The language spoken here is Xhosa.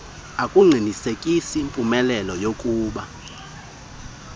akuqinisekisi mpumelelo yakuba